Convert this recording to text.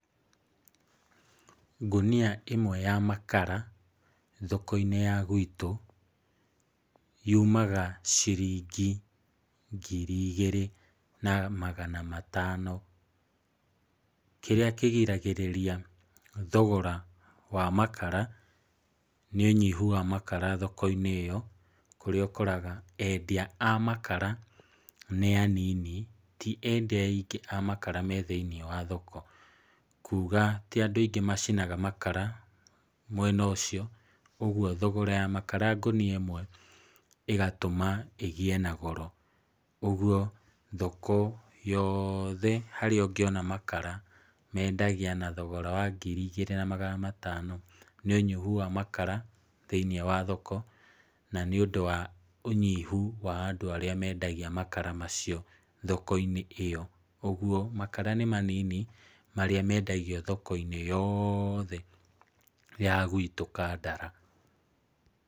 Ngũnia ĩmwe ya makara thoko-inĩ itũ yumaga ciringi ngiri igĩrĩ na magana matano. Kĩrĩa kĩgiragĩrĩria thogora wa makara nĩ ũnyihu wa makara thoko-inĩ ĩyo kũrĩa ũkoraga endia a makara nĩ anini, ti endia aingĩ a makara me thĩinĩ wa thoko. Kuuga ti andũ aingĩ macinaga makara mwena ũcio ũguo thogora ya makara ngũnia ĩmwe ĩgatũma ĩgĩe na goro. Ũguo thoko yothe harĩa ũngĩona makara mendagia na thogora wa ngiri igĩrĩ ma magana matano. Nĩ ũnyihu wa makara thĩinĩ wa thoko na nĩ ũndũ wa ũnyihu wa andũ arĩa mendagia makara macio thoko-inĩ ĩyo. Ũguo makara nĩ manini marĩa mendagio thoko-inĩ yothe ya gwitũ Kandara.